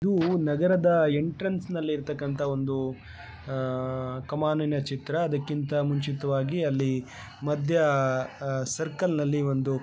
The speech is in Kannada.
ಇದು ನಗರದ ಒಂದು ಎಂಟ್ರನ್ಸ್ ನಲ್ಲಿ ಇರುವಂತಹ ಒಂದು ಕಮಾನಿನ ಚಿತ್ತರ ಅದಕ್ಕಿಂತ ಮುಂಚಿತವಾಗಿ ಅಲ್ಲಿ ಮಧ್ಯ ಸರ್ಕಲ್ ನಲ್ಲಿ ಬಂದು --